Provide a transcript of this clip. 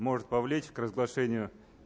может повлечь к разглашению